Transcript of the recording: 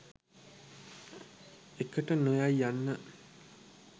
එකට නොයයි යන්න